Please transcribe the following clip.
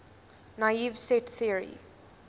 naive set theory